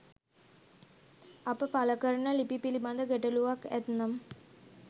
අප පලකරන ලිපි පිලිබද ගැටලුවක් ඇත්නම්